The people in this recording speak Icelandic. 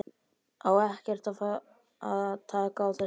Á ekkert að fara að taka á þessu??